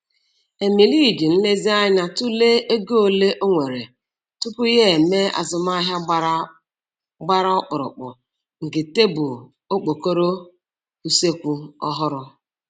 Emily ji nlezianya tụlee ego ole o nwere tupu ya e mee azụmaahịa gbara gbara ọkpụrụkpụ nke tebụl (okpokoro) useekwu ọhụrụ.